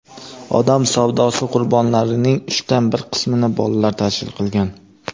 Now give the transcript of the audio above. odam savdosi qurbonlarining uchdan bir qismini bolalar tashkil qilgan.